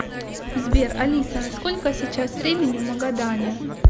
сбер алиса сколько сейчас времени в магадане